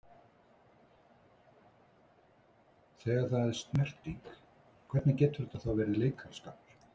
Þegar það er snerting, hvernig getur þetta þá verið leikaraskapur?